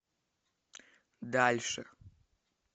дальше